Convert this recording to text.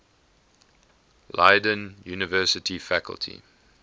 leiden university faculty